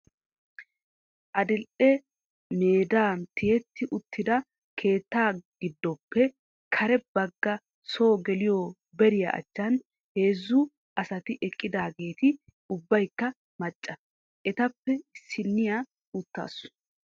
Adil"e meda tiyywtti uttida keettaa godappe kare bagga soo geliyo bariyaa achchan heezzu asati eqqidaageeti ubbaykka macca. Etappe issiniya uttaasu.